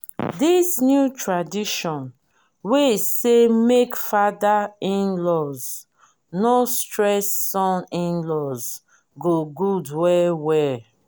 this new tradition wey say make father in-laws no stress son in-laws good well well.